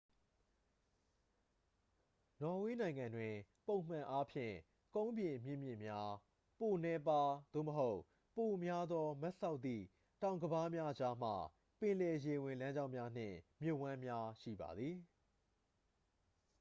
နော်ဝေးနိုင်ငံတွင် ပုံမှန်အားဖြင့် ကုန်းပြင်မြင့်မြင့်များ ပိုနည်းပါး သို့မဟုတ် ပိုများသော မတ်စောက်သည့် တောင်ကမ်းပါးများကြားမှ ပင်လယ်ရေဝင်လမ်းကြောင်းများ နှင့် မြစ်ဝှမ်းများ ရှိပါသည်